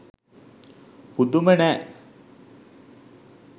පුදුම නෑ